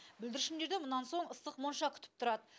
бүлдіршіндерді мұнан соң ыстық монша күтіп тұрады